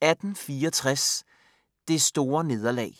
1864 - Det store nederlag